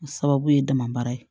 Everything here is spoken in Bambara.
O sababu ye dama baara ye